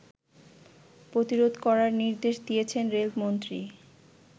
প্রতিরোধ করার নির্দেশ দিয়েছেন রেলমন্ত্রী